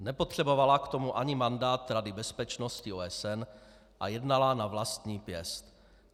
Nepotřebovala k tomu ani mandát Rady bezpečnosti OSN a jednala na vlastní pěst.